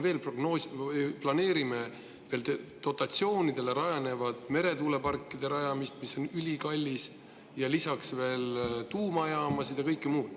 Öelge mulle palun, mille jaoks me veel planeerime dotatsioonidele rajanevate meretuuleparkide rajamist, mis on ülikallis, ja lisaks tuumajaamasid ja kõike muud.